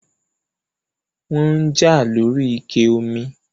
wọ́n ń jà lóri ike omi